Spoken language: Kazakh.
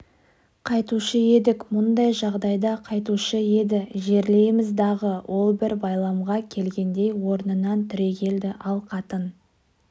қайтуші едік мұндай жағдайда қайтуші еді жерлейміз дағы ол бір байламға келгендей орнынан түрегелді ал қатын